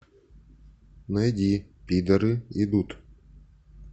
найди пидоры идут